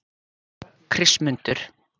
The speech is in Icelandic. Kristmundur